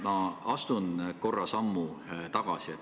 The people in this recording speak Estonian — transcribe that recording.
Ma astun korra sammu tagasi.